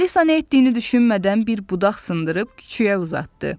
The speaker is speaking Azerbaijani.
Alisa nə etdiyini düşünmədən bir budaq sındırıb küçüyə uzatdı.